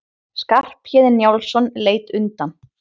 Skarphéðinn Njálsson leit undan.